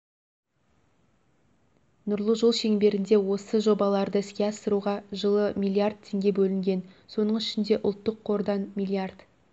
нұрлы жол шеңберінде осы жобаларды іске асыруға жылы миллиард теңге бөлінген соның ішінде ұлттық қордан миллиард